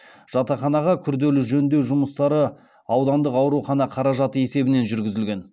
жатақханаға күрделі жөндеу жұмыстары аудандық аурухана қаражаты есебінен жүргізілген